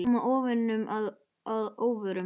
Það átti að koma óvininum að óvörum.